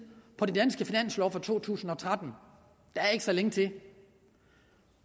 på den danske finanslov for to tusind og tretten der er ikke så længe til